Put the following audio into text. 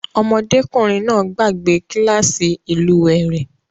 Ọmọdékùnrin náà gbàgbe kílàsì ìlúwè rẹ̀.